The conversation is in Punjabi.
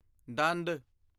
ਦੰਦ